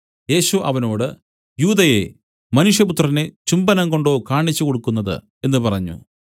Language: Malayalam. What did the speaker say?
യേശു അവനോട് യൂദയേ മനുഷ്യപുത്രനെ ചുംബനംകൊണ്ടോ കാണിച്ചുകൊടുക്കുന്നത് എന്നു പറഞ്ഞു